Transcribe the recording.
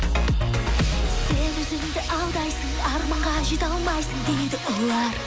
сен өзіңді алдайсың арманға жете алмайсың дейді олар